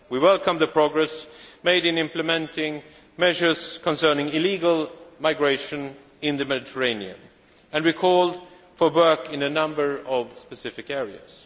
We welcomed the progress made in implementing measures concerning illegal migration in the Mediterranean, and we called for work in a number of specific